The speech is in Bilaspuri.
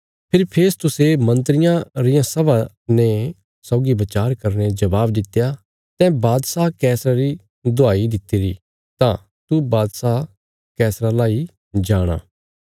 फेरी फेस्तुसे मन्त्रियां रियां सभा ने सौगी बचार करीने जवाब दित्या तैं बादशाह कैसरा री दुहाई दित्तिरी तां तू बादशाह कैसरा लाई जाणा